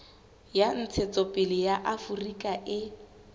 ya ntshetsopele ya aforika e